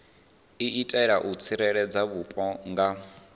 itela u tsireledza vhupo nga